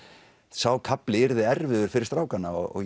sá kafli yrði erfiður fyrir strákana og